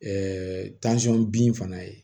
bin fana ye